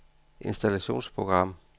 installationsprogram